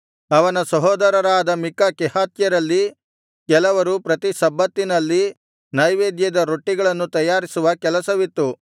ಅವನ ಸಹೋದರರಾದ ಮಿಕ್ಕ ಕೆಹಾತ್ಯರಲ್ಲಿ ಕೆಲವರು ಪ್ರತಿ ಸಬ್ಬತ್ತಿನಲ್ಲಿ ನೈವೇದ್ಯದ ರೊಟ್ಟಿಗಳನ್ನು ತಯಾರಿಸುವ ಕೆಲಸವಿತ್ತು